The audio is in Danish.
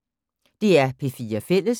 DR P4 Fælles